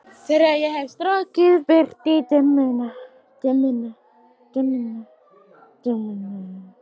Þegar ég hef strokið burt dimmuna.